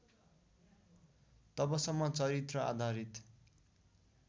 तबसम्म चरित्र आधारित